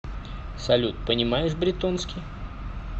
салют понимаешь бретонский